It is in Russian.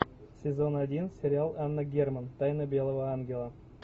сезон один сериал анна герман тайна белого ангела